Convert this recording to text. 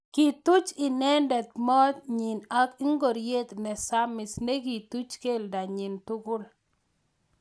Kituch inendet mot nyi ak ngoriet nesamis nekituch keldo nyi tugul.